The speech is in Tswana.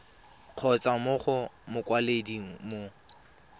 kgotsa mo go mokwaledi mo